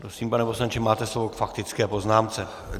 Prosím, pane poslanče, máte slovo k faktické poznámce.